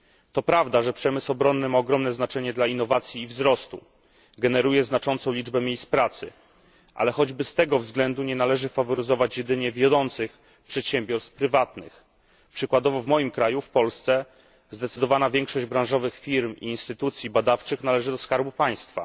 To prawda, że przemysł obronny ma ogromne znaczenie dla innowacji i wzrostu, generuje znaczącą liczbę miejsc pracy, ale choćby z tego względu nie należy faworyzować jedynie wiodących przedsiębiorstw prywatnych. Przykładowo w moim kraju w Polsce zdecydowana większość branżowych firm i instytucji badawczych należy do skarbu państwa.